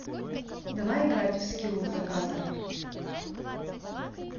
давай играть в скилл заказер